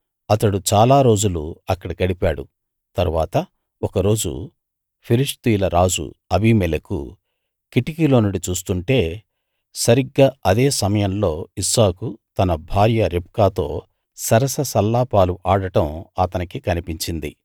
అతడు చాలా రోజులు అక్కడ గడిపాడు తరువాత ఒక రోజు ఫిలిష్తీయుల రాజు అబీమెలెకు కిటికీలో నుండి చూస్తుంటే సరిగ్గా అదే సమయంలో ఇస్సాకు తన భార్య రిబ్కాతో సరస సల్లాపాలు ఆడటం అతనికి కనిపించింది